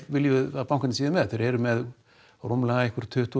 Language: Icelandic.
viljum við að bankarnir séu með þeir eru með rúmlega tuttugu